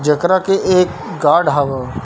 जेकरा के एक गार्ड हबा।